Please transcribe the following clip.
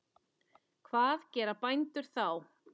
Hvað gera bændur þá?